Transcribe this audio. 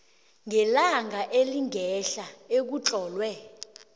ngelanga elingehla ekutlolwe